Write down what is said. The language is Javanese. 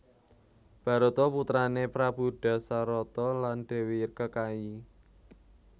Barata putrané Prabu Dasarata lan Dèwi Kekayi